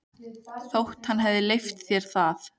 Þótt hann hefði leyft sér það.